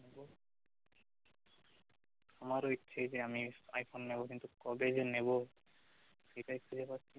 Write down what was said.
আমার ও ইচ্ছে যে আমি আইফোন নেব কিন্তু কবে যে নেব সেটাই খুজে পাচ্ছি না